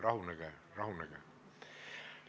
Rahunege-rahunege!